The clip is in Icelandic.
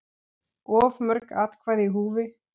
Of mörg atkvæði í húfi?